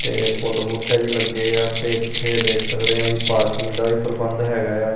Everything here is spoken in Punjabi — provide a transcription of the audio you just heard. ਤੇ ਫੁੱਲ ਬੂਟੇ ਵੀ ਲੱਗੇ ਆ ਤੇ ਇੱਥੇ ਦੇਖ ਸਕਦੇ ਆ ਵੀ ਪਾਰਕਿੰਗ ਦਾ ਵੀ ਪ੍ਰਬੰਧ ਹੈਗਾ ਆ।